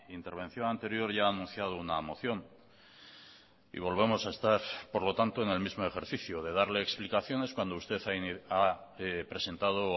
intervención anterior ya ha anunciado una moción y volvemos a estar por lo tanto en el mismo ejercicio de darle explicaciones cuando usted ha presentado o